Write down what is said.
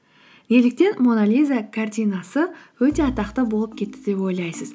неліктен мона лиза картинасы өте атақты болып кетті деп ойлайсыз